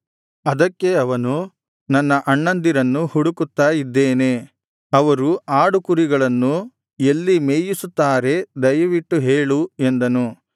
ಅದಕ್ಕೆ ಅವನು ನನ್ನ ಅಣ್ಣಂದಿರನ್ನು ಹುಡುಕುತ್ತಾ ಇದ್ದೇನೆ ಅವರು ಆಡುಕುರಿಗಳನ್ನು ಎಲ್ಲಿ ಮೇಯಿಸುತ್ತಾರೆ ದಯವಿಟ್ಟು ಹೇಳು ಎಂದನು